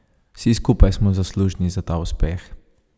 Vsi skupaj smo zaslužni za ta uspeh.